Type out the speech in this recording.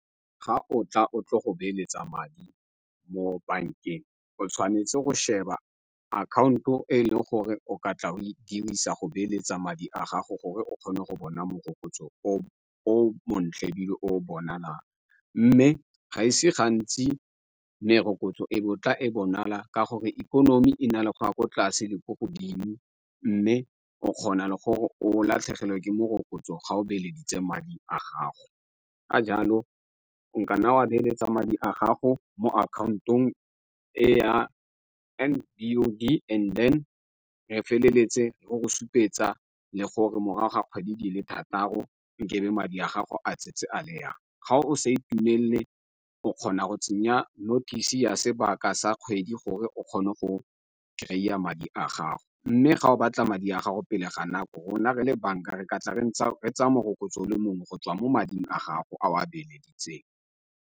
Ga o tla o tle go beeletsa madi mo bankeng o tshwanetse go sheba akhaonto e e leng gore o ka tla o e dirisa go beeletsa madi a gago gore o kgone go bona morokotso o o montle ebile o o bonalang. Mme ga ise gantsi merokotso e bo tla e bonala ka gore ikonomi e na le go a ko tlase le ko godimo mme o kgona gore o latlhegelwe ke morokotso ga o bileditswe madi a gago. Ka jalo nkana wa beeletsa madi a gago mo akhaontong e ya and then re feleletse re go supetsa le gore morago ga kgwedi di le thataro nkabe madi a gago a tsentse a le yang. Ga o sa itumelele o kgona go tsenya notice ya sebaka sa kgwedi gore o kgone go kry-a madi a gago. Mme fa o batla madi a gago pele ga nako rona re le banka re ka tla re ntse re tsaya morokotso o le mongwe go tswa mo mading a gago a o a beeleditseng.